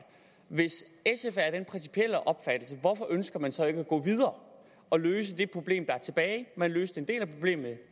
hvis sf er af den principielle opfattelse hvorfor ønsker man så ikke at gå videre og løse det problem der er tilbage man løste en del af problemet